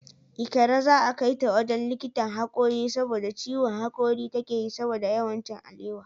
Ikra za'a kaita wajen likitan hakori saboda ciwon hakori takeyi saboda yawan cin alewa.